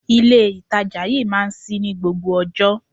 Ilé ìtajà yí máa ń ṣí ní gbogbo ọjọ́.